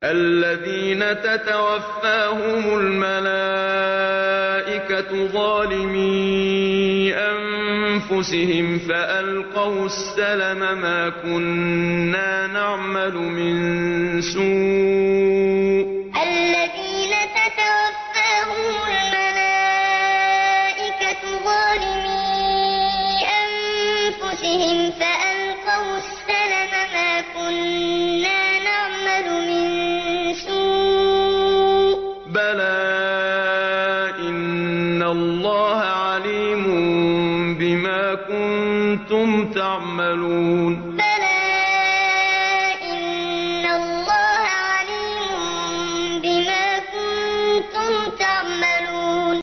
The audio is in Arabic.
الَّذِينَ تَتَوَفَّاهُمُ الْمَلَائِكَةُ ظَالِمِي أَنفُسِهِمْ ۖ فَأَلْقَوُا السَّلَمَ مَا كُنَّا نَعْمَلُ مِن سُوءٍ ۚ بَلَىٰ إِنَّ اللَّهَ عَلِيمٌ بِمَا كُنتُمْ تَعْمَلُونَ الَّذِينَ تَتَوَفَّاهُمُ الْمَلَائِكَةُ ظَالِمِي أَنفُسِهِمْ ۖ فَأَلْقَوُا السَّلَمَ مَا كُنَّا نَعْمَلُ مِن سُوءٍ ۚ بَلَىٰ إِنَّ اللَّهَ عَلِيمٌ بِمَا كُنتُمْ تَعْمَلُونَ